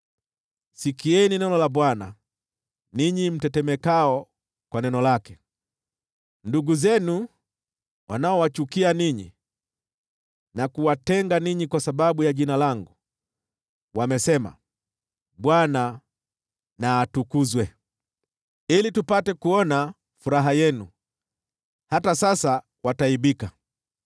Sikieni neno la Bwana , ninyi mtetemekao kwa neno lake: “Ndugu zenu wanaowachukia ninyi na kuwatenga ninyi kwa sababu ya Jina langu, wamesema, ‘ Bwana na atukuzwe, ili tupate kuona furaha yenu!’ Hata sasa wataaibika.